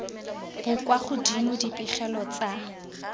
bo kwa godimo dipegelo tsa